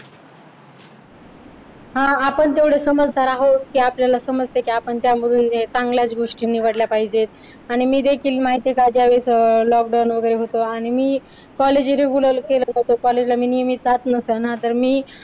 हा आपण तेवढे समजदार आहोत की आपल्याला समजते की आपण त्या चांगल्या गोष्टी निवडले पाहिजेत आणि मी देखील माहिते का ज्यावेळेस lockdown वगैरे होतं आणि मी college regular केलं नव्हतं college ला नेहमी जात नसे ना तर मी